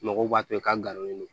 Mɔgɔw b'a to i ka galonnen don